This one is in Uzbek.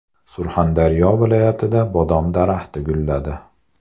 Surxondaryo viloyatida bodom daraxti gulladi.